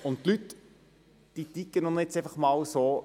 Die Leute ticken nun mal so: